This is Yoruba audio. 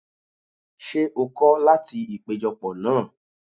Ṣé o kọ́ láti ìpéjọ pọ̀ náà?